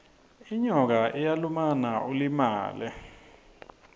inyoka iyalumana ulimale